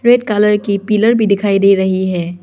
Red colour की pillar भी दिखाई दे रही है।